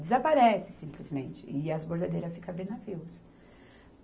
Desaparece, simplesmente, e as bordadeiras ficam a ver navios